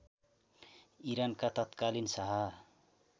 इरानका तत्कालीन शाह